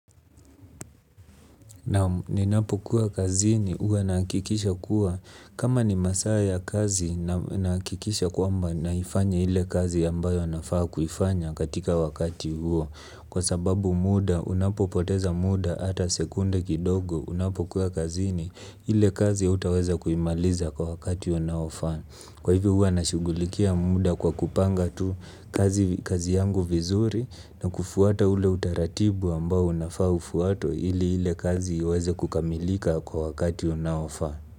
Ni napo kuwa kazini huwa nahakikisha kuwa kama ni masaa ya kazi nahakikisha kwamba naifanya ile kazi ambayo nafaa kuifanya katika wakati huo kwa sababu muda unapo poteza muda ata sekunde kidogo unapo kuwa kazini ile kazi hautaweza kuimaliza kwa wakati unaofaa. Kwa hivyo huwa nashughulikia muda kwa kupanga tu kazi, kazi yangu vizuri na kufuata ule utaratibu ambao unafaa ufuatwe ili ile kazi iweze kukamilika kwa wakati unaofaa.